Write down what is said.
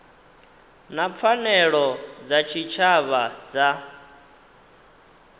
na pfanelo dza tshitshavha dza